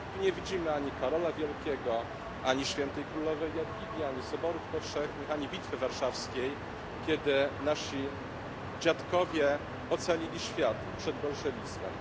Tu nie widzimy ani Karola Wielkiego, ani świętej królowej Jadwigi, ani soborów powszechnych, ani Bitwy Warszawskiej, kiedy nasi dziadkowie ocalili świat przed bolszewizmem.